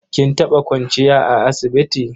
Kin taɓa kwanciya a asibiti?